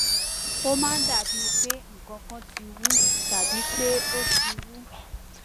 ó máa ń dàbíi pé nǹkan kan ti wú tàbí pé ó ti wú